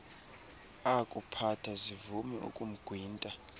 akuphatha zivume ukumgwinta